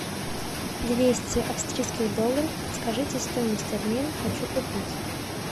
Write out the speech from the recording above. двести австрийских долларов подскажите стоимость обмена хочу купить